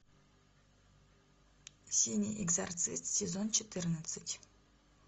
синий экзорцист сезон четырнадцать